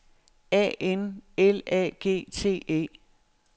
A N L A G T E